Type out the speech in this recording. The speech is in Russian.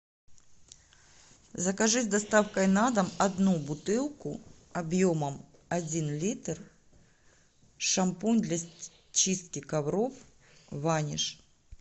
закажи с доставкой на дом одну бутылку объемом один литр шампунь для чистки ковров ваниш